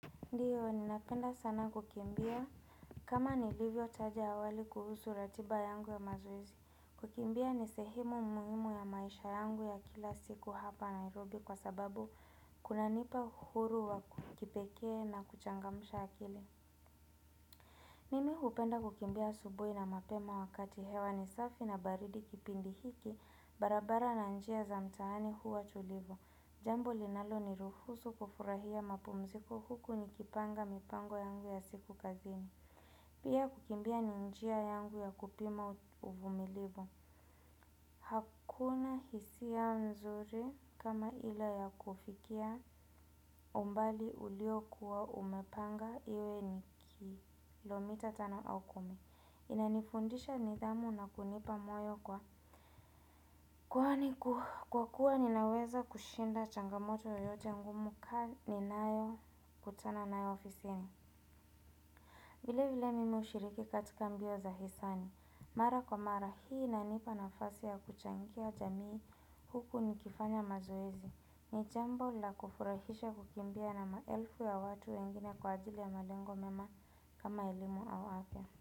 Ndiyo, ninapenda sana kukimbia kama nilivyotaja awali kuhusu ratiba yangu ya mazoezi, kukimbia ni sehemu muhimu ya maisha yangu ya kila siku hapa Nairobi kwa sababu kunanipa uhuru wa kipekee na kuchangamsha akili. Mimi hupenda kukimbia asubuhi na mapema wakati hewa ni safi na baridi kipindi hiki barabara na njia za mtaani huwa tulivu. Jambo linaloniruhusu kufurahia mapumziko huku nikipanga mipango yangu ya siku kazini. Pia kukimbia ni njia yangu ya kupima uvumilivu. Hakuna hisia mzuri kama ile ya kufikia umbali uliokuwa umepanga iwe ni kilomita tano au kumi. Inanifundisha nidhamu na kunipa moyo kwa kwa kuwa ninaweza kushinda changamoto yoyote ngumu kaa nayo kutana nayo ofisini. Vile vile mimi hushiriki katika mbio za hisani. Mara kwa mara hii inanipa nafasi ya kuchangia jamii huku nikifanya mazoezi. Ni jambo la kufurahisha kukimbia na maelfu ya watu wengine kwa ajili ya malengo mema kama elimu au afya.